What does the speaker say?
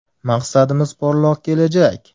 Maqsadimiz porloq kelajak!